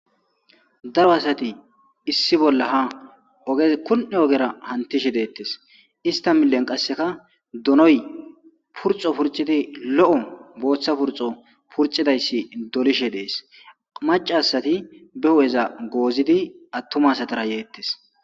daro asati issi bolla ha ogez kun7e ogera hantishe deettes ista milen qasseka donoy purxo purcidi lo7o booththa purxo purcidayssi dolishe dees maca asati be hu7eza goozidi attumasatara yeettes